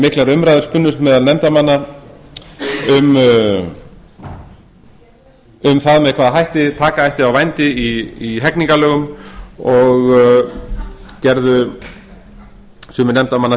miklar umræður spunnust meðal nefndarmanna um það með hvaða hætti taka ætti á vændi í hegningarlögum og gerðu sumir nefndarmanna